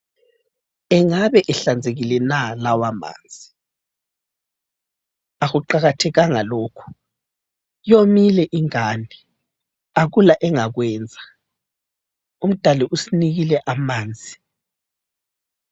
Engabe ehlanzekile na lawamanzi? Akuqakathekanga lokho, yomile ingane, akula engakwenza. UMdali usinikile amanzi.